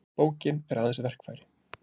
Bókin er aðeins verkfæri.